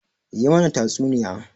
Yi mana tatsuniya!